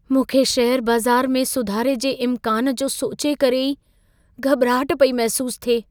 मूंखे शेयर बाज़ारु में सुधारे जे इमकान जो सोचे करे ई घबि॒राहट पई महिसूसु थिए।